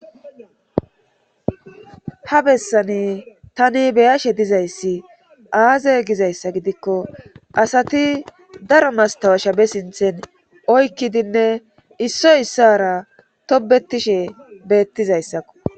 Ha bessani tani beyashe dizayssi aaze gizayssa gidikko asati daro mastawa shabe sinthen oykkidinne issoy issara tobetishe beettizayssakko